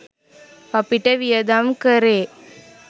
අපිට වියදම් කරේ